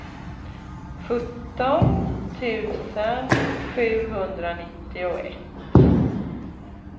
sjutton tusen sjuhundranittioett